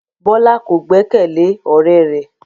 Bola ko gbẹkẹle ọrẹ rẹ